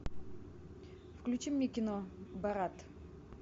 включи мне кино борат